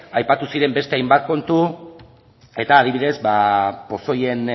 aipatu ziren beste hainbat kontu eta adibidez ba pozoien